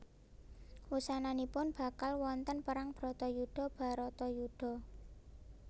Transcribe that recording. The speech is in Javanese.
Wusananipun bakal wonten perang Bratayuda Bharatayuddha